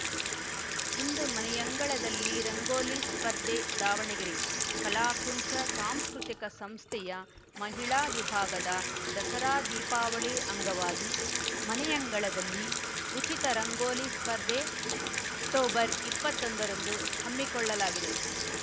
ಇಂದು ಮನೆಯಂಗಳದಲ್ಲಿ ರಂಗೋಲಿ ಸ್ಪರ್ಧೆ ದಾವಣಗೆರೆ ಕಲಾಕುಂಚ ಸಾಂಸ್ಕೃತಿಕ ಸಂಸ್ಥೆಯ ಮಹಿಳಾ ವಿಭಾಗದಿಂದ ದಸರಾ ದೀಪಾವಳಿ ಅಂಗವಾಗಿ ಮನೆಯಂಗಳದಲ್ಲಿ ಉಚಿತ ರಂಗೋಲಿ ಸ್ಪರ್ಧೆ ಅಕ್ಟೋಬರ್ ಇಪ್ಪತ್ತೊಂದರಂದು ಹಮ್ಮಿಕೊಳ್ಳಲಾಗಿದೆ